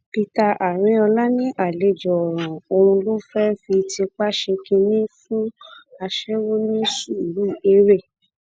peter arinola ní àlejò ọràn ọhún ló fẹẹ fi tipa ṣe kínní fún aṣẹwó ní suruere